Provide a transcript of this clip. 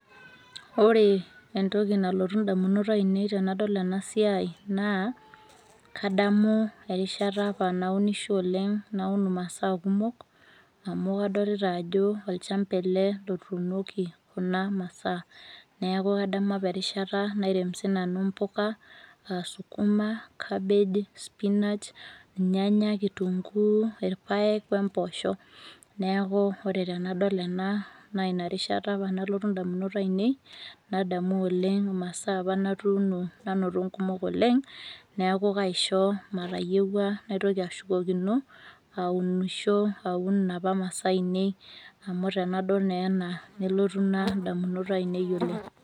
Oree entoki nalotu indamunot ainei tenadol enasiai naa kadamu erishata apa naunisho oleng' naun masaa kumok amu kadolita ajo olchamba ele lotuunoki kuna masaa neaku kademu apa erishata nairem sinanu mpoka [aa] sukuma, cabbage, spinach, ilnyanya, kitunguu, irpaek oempoosho neakuu ore tenadol ena naainarishata apa nalotu indamunot ainei nadamu oleng' masaa apa natuuno nanoto nkumok oleng' neaku kaisho matayeuwa naitoki ashukokino aunisho, aun inapa masaa ainei amu tenadol neena nelotu ina indamunot ainei oleng'.